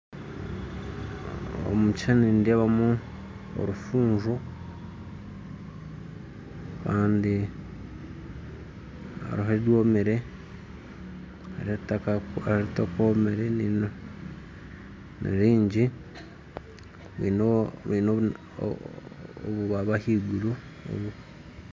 Omu kishuushani nindeebamu orufunjo kandi hariho ebyomire hariho ebitakomire nibingi baine obubaabi ahaiguru